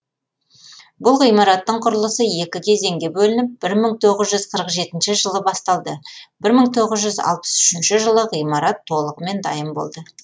бұл ғимараттың құрылысы екі кезеңге бөлініп бір мың тоғыз жүз қырық жетінші жылы басталды бір мың тоғыз жүз алпыс үшінші жылы ғимарат толығымен дайын болды